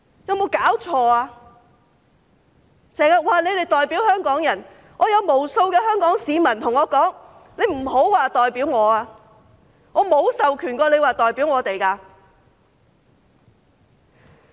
他們經常說代表香港人，有無數香港市民告訴我："請他們不要說代表我，我沒有授權他們代表我。